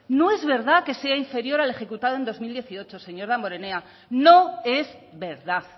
no es verdad que sea inferior al ejecutado en dos mil dieciocho señor damborenea no es verdad